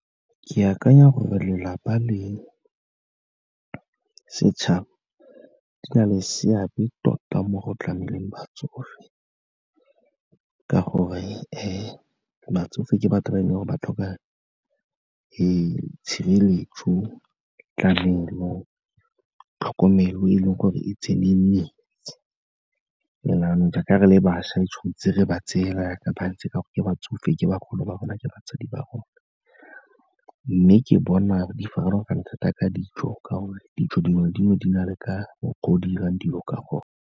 Ke akanya gore lelapa le setšhaba di na le seabe tota mo go tlameleng batsofe, ka gore batsofe ke batho ba e leng gore ba tlhoka tshireletso, tlamelo, tlhokomelo e leng gore e tseneletse and-e jaanong jaaka re le bašwa, re tshwan'tse re ba tseye fela jaaka bantse ka gore ke batsofe, ke bagolo ba rona, ke batsadi ba rona. Mme ke bona di farologane thata ka ditso, ka gore ditso dingwe le dingwe di na le ka mokgwa o di 'irang dilo ka gone.